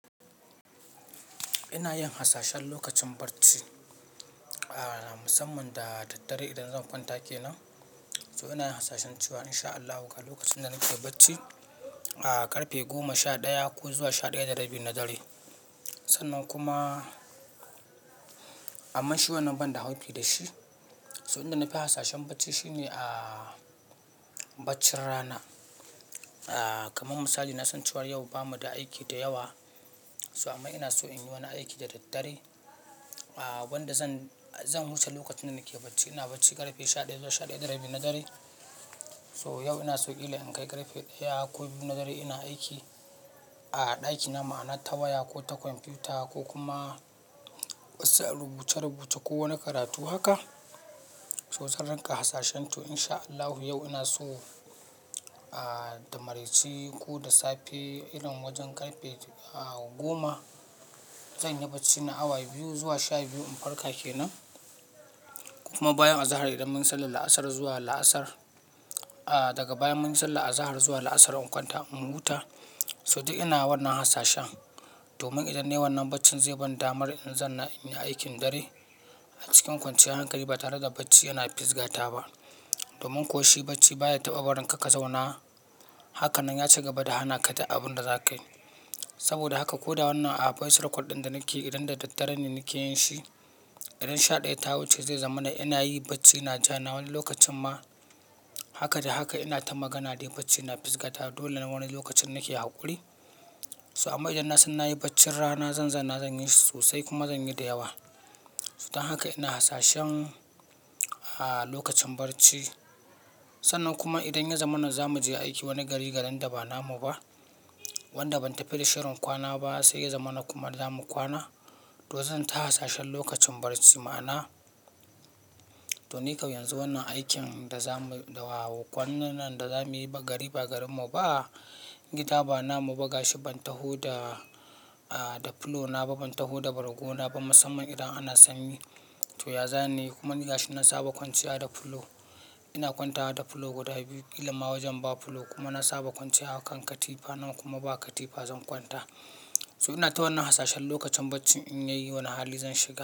Ina yin hasashen lokacin barci, a musamman da daddare idan zan kwanta kenan. So ina yin hasashen cewa in sha Allah kan lokacin da nake bacci, a karfe goma sha ɗaya ko zuwa sha ɗaya da rabi na dare. Sannan kuma, amma shi wannan ban dau haufi da shi. Toh inda nafi hasashen bacci shine a baccin rana. A kamar misali na san cewa yau bamu da aiki da yawa. So amma ina so in yi wani aiki da daddare. A wanda zan, zan wuce lokacin da nake bacci. Ina bacci karfe sha ɗaya zuwa sha ɗaya da rabi na dare. So yau ina so kila in kai karfe ɗaya ko biyu na dare ina aiki a ɗaki na, ma'ana ta waya ko ta kwamfuta ko kuma wasu rubuce-rubuce ko wani karatu haka. So zan rinka hasashen to in sha Allahu yau ina so a da maraice ko da safe, irin wajen karfe a goma zan yi bacci na awa biyu zuwa sha biyu in farka kenan. Kuma bayan azahar idan mun sallar la'asar zuwa la'asar, a daga bayan mun yi sallar azahar zuwa la'asar in kwanta in huta. Toh duk ina wannan hasashen domin idan nayi wannan baccin zai ban damar in zanna inyi aikin dare. A cikin kwanciyar hankali ba tare da bacci yana fisgata ba. Domin ko shi bacci baya taɓa warin ka ka zauna. Haka nan ya ci gaba da hana ka duk abun da zaka yi. Saboda haka ko da wannan a voice record ɗin da nake idan da daddare ne nake yin shi, idan sha ɗaya ta wuce zai zamana ina yi bacci na ja na wani lokacin ma. Haka da haka ina ta magana dai bacci na fisgata dole na wani lokacin nake haƙuri. So amma idan na san na yi baccin rana zan zanna zan yi shi sosai kuma zan yi da yawa. Don haka ina hasashen a lokacin barci. Sannan kuma idan ya zama mana zamu je aiki wani gari, garin da ba namu ba, wanda ban tafi da shirin kwana ba sai ya zama na kuma zamu kwana. To zan ta hasashen lokacin barci ma'ana to nikam yanzu wannan aikin da zamu, da wawo kwanan nan da zamuyi ba gari ba garinmu ba, gida ba namu ba gashi ban taho da, a da fulo na ba, ban taho da bargona ba musamman idan ana sanyi. To ya zanayi kuma ni gashi na saba kwanciya da fulo. Ina kwantawa da fulo guda biyu kila ma wajen ba fulo kuma na saba kwanciya a kan katifa, nan kuma ba katifa zan kwanta. Toh ina ta wannan hasashen lokacin baccin in yayi wani hali zan shiga.